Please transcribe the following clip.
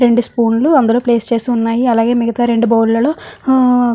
రెండు స్పూన్లు దానిలో ప్లేస్ దానిలో చేసి ఉన్నాయ్. అలాగే రెండు బౌల్లో --